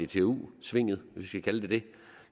dtu svinget hvis man kan kalde det det